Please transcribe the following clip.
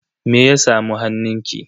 Me ya samu hannunki?